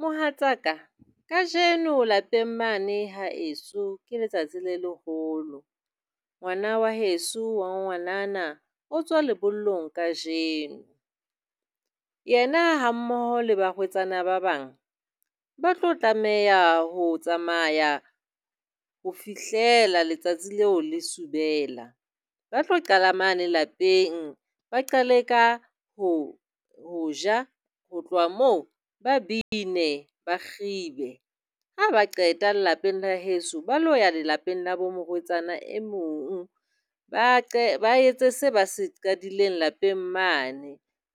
Mohatsaka, kajeno lapeng mane haeso ke letsatsi le leholo. Ngwana wa heso wa ngwanana o tswa lebollong kajeno. Yena hammoho le barwetsana ba bang ba tlo tlameha ho tsamaya ho fihlela letsatsi leo le subela. Ba tlo qala mane lapeng, ba qale ka ho ho ja. Ho tloha moo ba bine, ba kgibe. Ha ba qeta lelapeng la heso, ba lo ya lelapeng la bo morwetsana e mong ba ba etse se ba se qadileng lapeng mane.